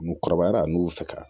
N kɔrɔbayara a n'u fɛ